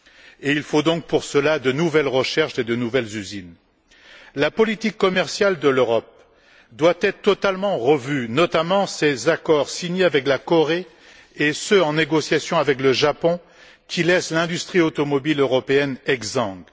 et il faut donc pour cela de nouvelles recherches et de nouvelles usines. La politique commerciale de l'Europe doit être totalement revue, notamment ses accords signés avec la Corée et ceux en négociation avec le Japon, qui laissent l'industrie automobile européenne exsangue.